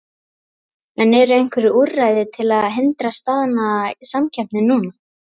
En eru einhver úrræði til að hindra staðnaða samkeppni núna?